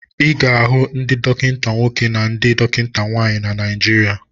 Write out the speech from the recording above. Ị ga-ahụ ndị dọkịta nwoke na ndị dọkịta nwaanyị na Naijiria.